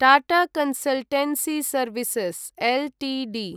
Tata consultancy services Ltd